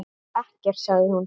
Ekkert, sagði hún.